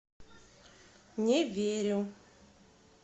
не верю